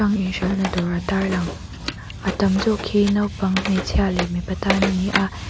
ang in hralhna dawr a tarlang a tam zawk hi naupang hmeichhia leh mipa tan ani a.